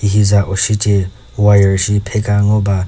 hi za ushi ce wire shi pheka ngoba.